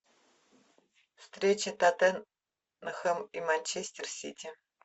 встреча тоттенхэм и манчестер сити